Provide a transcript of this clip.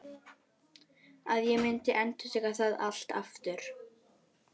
Að ég myndi endurtaka það allt aftur?